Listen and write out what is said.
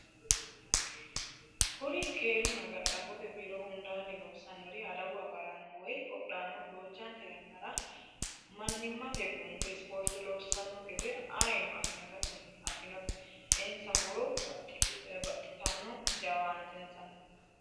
Kuri keerunna ga'labbote biiro hundanni loosanori adawu agarano woyi qodhano duuchante yannara mannimate gunte ispoorte loossano gede ayiino afinote insa horo baxxittano jawaantensanni.